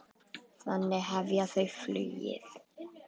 Þannig hefja þau flugið.